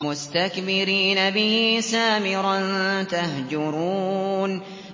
مُسْتَكْبِرِينَ بِهِ سَامِرًا تَهْجُرُونَ